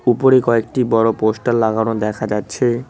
উপরে কয়েকটি বড় পোস্টার লাগানো দেখা যাচ্ছে।